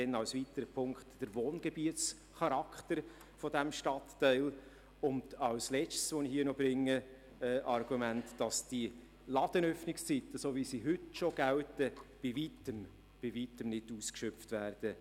Dann als weitere Punkte wurden der Wohngebietscharakter des Stadtteils vorgebracht und das Argument, dass die Ladenöffnungszeiten so, wie sie heute gelten, bei Weitem nicht ausgeschöpft werden.